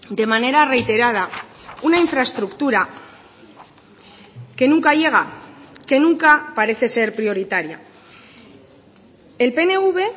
de manera reiterada una infraestructura que nunca llega que nunca parece ser prioritaria el pnv